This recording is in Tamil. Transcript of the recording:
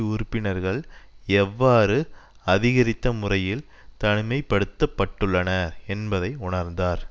உறுப்பினர்கள் எவ்வாறு அதிகரித்த முறையில் தனிமைப்படுத்தப்பட்டுள்ளன என்பதை உணர்ந்தார்